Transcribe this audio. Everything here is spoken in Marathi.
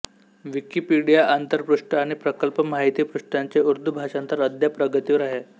विकिपीडिया आंतरपृष्ठ आणि प्रकल्प माहिती पृष्ठांचे उर्दू भाषांतर अद्याप प्रगतीवर आहे